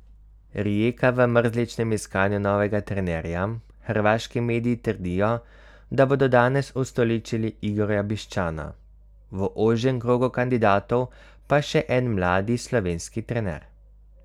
Rijeka v mrzličnem iskanju novega trenerja, hrvaški mediji trdijo, da bodo danes ustoličili Igorja Bišćana, v ožjem krogu kandidatov pa še en mladi slovenski trener.